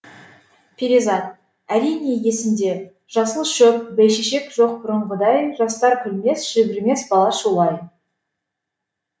перизат әрине есімде жасыл шөп бәйшешек жоқ бұрынғыдай жастар күлмес жүгірмес бала шулай